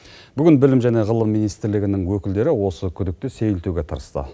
бүгін білім және ғылым министрлігінің өкілдері осы күдікті сейілтуге тырысты